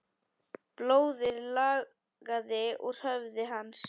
Blóðið lagaði úr höfði hans.